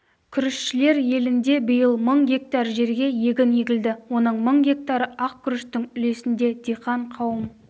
күрішшілер елінде биыл мың гектар жерге егін егілді оның мың гектары ақ күріштің үлесінде диқан қауым